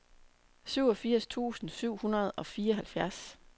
syvogfirs tusind syv hundrede og fireoghalvfjerds